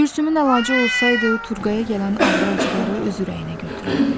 Gülsümün əlacı olsaydı, Turqaya gələn ağrı-acıları öz ürəyinə götürərdi.